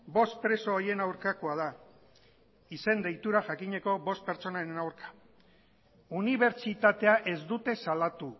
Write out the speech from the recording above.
bost preso horien aurkakoa da izen deitura jakineko bost pertsonaren aurka unibertsitatea ez dute salatu